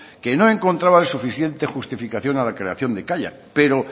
que no encontraba el suficiente justificación a la creación de kaiak pero